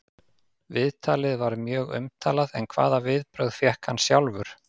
Viðtalið var mjög umtalað en hvaða viðbrögð fékk hann sjálfur?